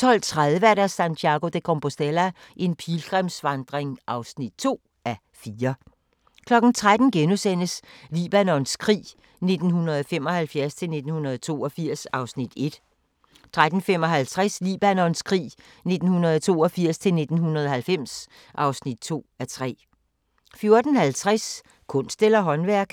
12:30: Santiago de Compostela – en pilgrimsvandring (2:4) 13:00: Libanons krig 1975-1982 (1:3)* 13:55: Libanons krig 1982-1990 (2:3) 14:50: Kunst eller håndværk?